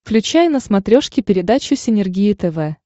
включай на смотрешке передачу синергия тв